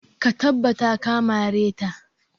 Ka tabbata ka mare ta!